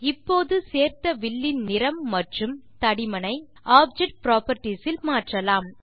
இப்போது சேர்த்த வில் இன் நிறம் மற்றும் தடிமனை ஆப்ஜெக்ட் புராப்பர்ட்டீஸ் இல் மாற்றலாம்